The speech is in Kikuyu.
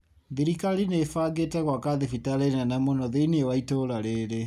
Thirikali nĩĩbangite gwaka thibitarĩ nene mũno thĩĩnĩ wa itũra rĩrĩ